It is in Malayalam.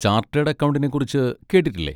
ചാർട്ടേഡ് അക്കൗണ്ടിനെ കുറിച്ച് കേട്ടിട്ടില്ലേ?